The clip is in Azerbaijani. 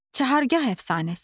Çahargah əfsanəsi.